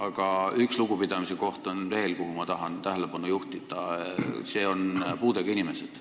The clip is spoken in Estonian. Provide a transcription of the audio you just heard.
Aga on veel üks lugupidamise koht, millele ma tahan tähelepanu juhtida – see on puudega inimesed.